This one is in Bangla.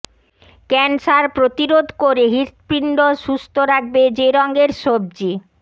ক্যান্সার প্রতিরোধ করে হৃৎপিণ্ড সুস্থ রাখবে যে রঙের সবজি